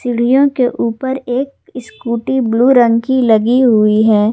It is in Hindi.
सीढ़ियां के ऊपर एक स्कूटी ब्लू रंग की लगी हुई है।